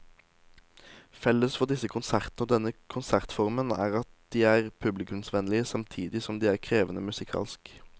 Felles for disse konsertene og denne konsertformen er at de er publikumsvennlige samtidig som de er krevende musikalsk.